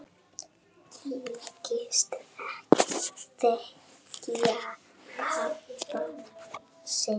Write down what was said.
Þykist ekki þekkja pabba sinn!